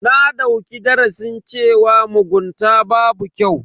Na dauki darasin cewa mugunta babu kyau.